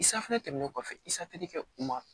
tɛmɛnen kɔfɛ i safunɛ kɛ u ma